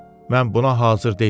Mən buna hazır deyildim.